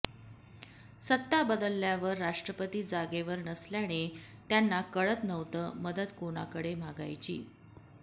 सत्ता बदलल्यावर राष्ट्रपती जागेवर नसल्याने त्यांना कळत नव्हत मदत कोणाकडे मागायची